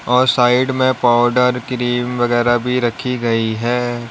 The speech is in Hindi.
और साइड में पाउडर क्रीम वगैरा भी रखी गई है।